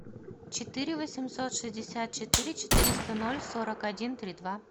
четыре восемьсот шестьдесят четыре четыреста ноль сорок один три два